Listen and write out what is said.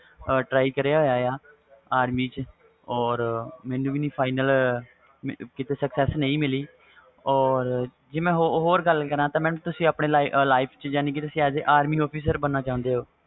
try ਕਰਿਆ ਹੋਇਆ army ਵ ਚ or ਮੈਨੂੰ ਵੀ final sucess ਨਹੀਂ ਮਿਲੀ ਜੇ ਮੈਂ ਹੋਰ ਗੱਲ ਕਰਾ ਤਾ ਤੁਸੀ army officer ਬਨਾਨਾ ਚਾਹੁੰਗੇ